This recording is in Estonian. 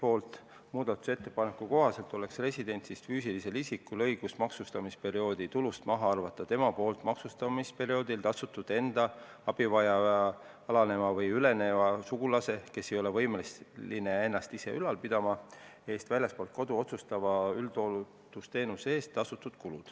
Selle muudatusettepaneku kohaselt oleks residendist füüsilisel isikul õigus maksustamisperioodi tulust maha arvata need kulud, mis ta on tasunud maksustamisperioodil enda abivajava alaneja või üleneja sugulase, kes ei ole võimeline ennast ise ülal pidama, eest väljaspool kodu osutatava üldhooldusteenuse eest.